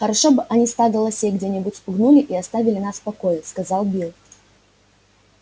хорошо бы они стадо лосей где нибудь спугнули и оставили нас в покое сказал билл